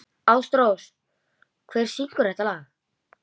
Ásrós, hver syngur þetta lag?